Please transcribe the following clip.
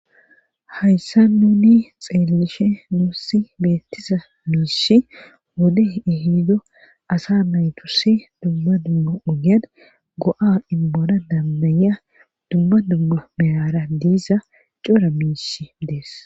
hayssa nuni xeellishe nuussi beettiza miishi wode ihido asa maytusi dumma dumma ugyan go7a inbona dambaya dumma dumma meyara diisa cora miish dees